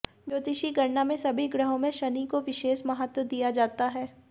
ज्योतिषी गणना में सभी ग्रहों में शनि को विशेष महत्व दिया जाता है